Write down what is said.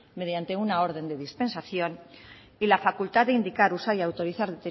mediante una orden de dispensación y la facultad de indicar usar y autorizar